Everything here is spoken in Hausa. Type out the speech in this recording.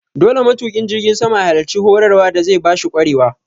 Dole matuƙin jirgin sama ya halarci horar wa da zai bashi ƙwarewa